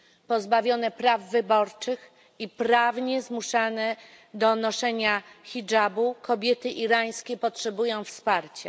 Pozbawione praw wyborczych i prawnie zmuszane do noszenia hidżabu, kobiety irańskie potrzebują wsparcia.